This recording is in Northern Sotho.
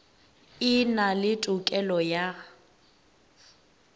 e na le tokelo ya